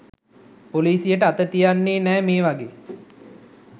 පොලිසියට අත තියන්නෙ නෑ මේ වගේ